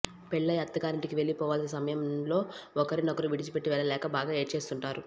పెళ్లయి అత్తగారింటికి వెళ్లిపోవాల్సి సమయం లో ఒకరినొకరు విడిచిపెట్టి వెళ్లలేక బాగా ఏడ్చేస్తుంటారు